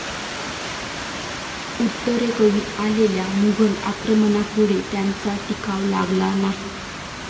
उत्तरेकडून आलेल्या मुघल आक्रमणापुढे त्यांचा टिकाव लागला नाही.